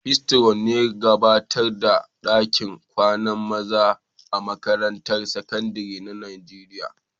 Patron'ne kan gabatar da dakin kwanan maza a'makarantun sekandaren Nijeriya.